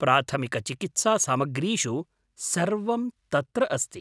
प्राथमिकचिकित्सासामग्रीषु सर्वं तत्र अस्ति।